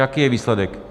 Jaký je výsledek?